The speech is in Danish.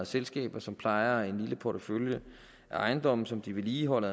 selskaber som plejer en lille portefølje af ejendomme som de vedligeholder